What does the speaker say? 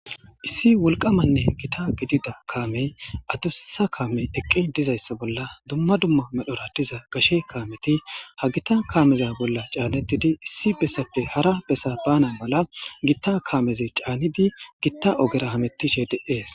Issi wolqamanne gitta gidida kaamey adussa kaame eqqi dizayssa bolla dumma dumma medhdhora diza gashe kaameti ha gita kaameza bolla caanettidi issi bessappe hara bessa baana mala gitta kaameze caanidi gitta ogera hamettishshe de'ees